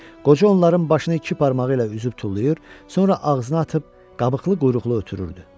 Qoca onların başını iki barmağı ilə üzüb tullayır, sonra ağzına atıb qabıqlı quyruqlu ötürürdü.